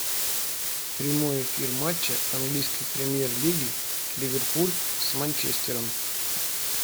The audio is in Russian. прямой эфир матча английской премьер лиги ливерпуль с манчестером